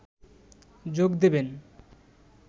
যোগ দেবেন